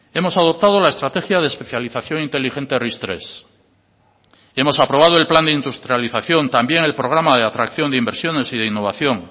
hemos adoptado la estrategia de especialización inteligente ris tres hemos aprobado el plan de industrialización también el programa de atracción de inversiones y de innovación